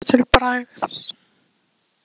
Hvað átti hann að taka til bragðs?